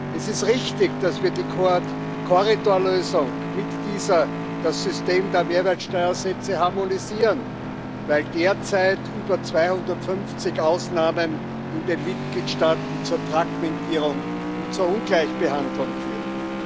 Es ist richtig, dass wir mit der Korridorlösung das System der Mehrwertsteuersätze harmonisieren, weil derzeit über 250 Ausnahmen in den Mitgliedstaaten zur Fragmentierung und zur Ungleichbehandlung führen.